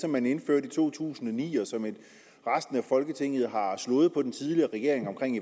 som man indførte i to tusind og ni og som resten af folketinget har slået regeringen oven i